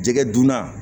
Jɛgɛ dunna